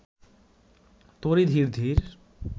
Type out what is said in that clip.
তরী ধীর ধীর